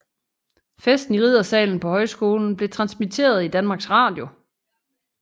Festen i riddersalen på højskolen blev transmitteret i Danmarks Radio